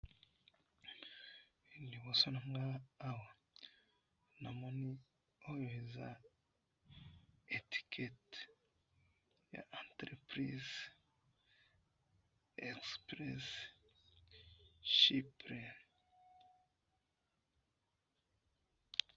Liboso na nga awa ,namoni oyo eza etiquette ya ba entreprise, Express Cyprus